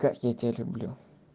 как я тебя люблю